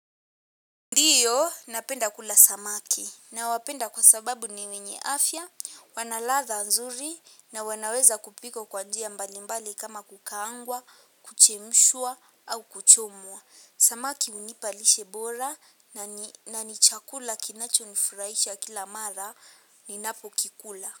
Ndiyo, napenda kula samaki nawapenda kwa sababu ni wenye afya, wana ladha nzuri na wanaweza kupikwa kwa njia mbalimbali kama kukaangwa, kuchemshwa au kuchomwa. Samaki hunipa lishe bora na ni chakula kinacho nifurahisha kila mara ninapokikula.